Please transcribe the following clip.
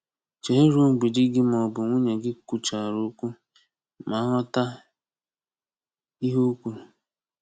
Chere ruo mgbe di gị maọbụ nwunye gị kwuchara okwu ma ghọta ihe o kwuru.